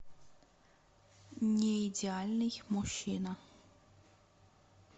неидеальный мужчина